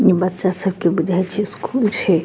इ बच्चा सबके बुझाय छे स्कूल छे।